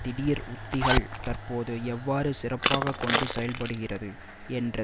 திடீர் உத்திகள் தற்போது எவ்வாறு சிறப்பாக கொண்டு செல்ல படுகிறது என்ற